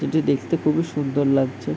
এটি দেখতে খুবই সুন্দর লাগছে ।